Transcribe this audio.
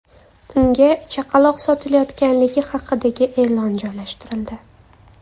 Unga chaqaloq sotilayotganligi haqidagi e’lon joylashtirildi.